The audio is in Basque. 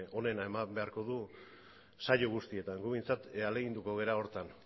onena eman beharko du saio guztietan gu behintzat ahaleginduko gara horretan